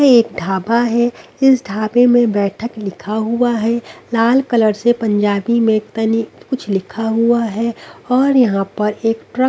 एक ढाबा है इस ढाबे में बैठक लिखा हुआ है लाल कलर से पंजाबी में तनी कुछ लिखा हुआ है और यहां पर एक ट्रक --